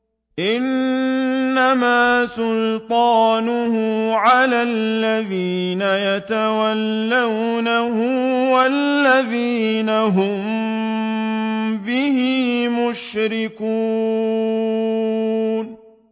إِنَّمَا سُلْطَانُهُ عَلَى الَّذِينَ يَتَوَلَّوْنَهُ وَالَّذِينَ هُم بِهِ مُشْرِكُونَ